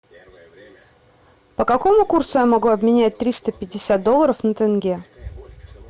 по какому курсу я могу обменять триста пятьдесят долларов на тенге